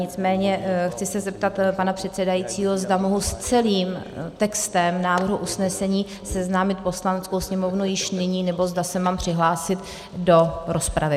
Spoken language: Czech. Nicméně chci se zeptat pana předsedajícího, zda mohu s celým textem návrhu usnesení seznámit Poslaneckou sněmovnu již nyní, nebo zda se mám přihlásit do rozpravy.